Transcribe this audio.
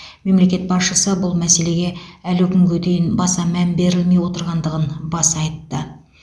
мемлекет басшысы бұл мәселеге әлі күнге дейін баса мән берілмей отырғандығын баса айтты